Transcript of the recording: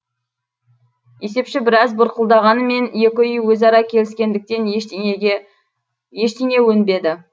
есепші біраз бұрқылдағанымен екі үй өзара келіскендіктен ештеңе өнбеді